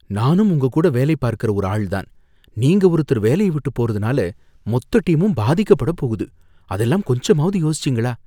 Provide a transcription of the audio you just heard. நானும் உங்க கூட வேலை பார்க்கற ஒரு ஆள் தான், நீங்க ஒருத்தர் வேலைய விட்டு போறதுனால மொத்த டீமும் பாதிக்கப்படப் போகுது, அதெல்லாம் கொஞ்சமாவது யோசிச்சீங்களா?